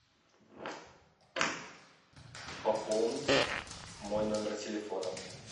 пополнить мой номер телефона